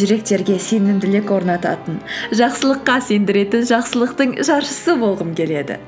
жүректерге сенімділік орнататын жақсылыққа сендіретін жақсылықтың жаршысы болғым келеді